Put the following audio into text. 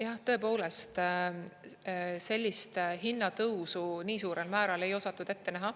Jah, tõepoolest sellist hinnatõusu nii suurel määral ei osatud ette näha.